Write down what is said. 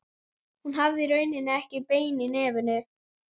Hún hafði í rauninni ekkert bein í nefinu.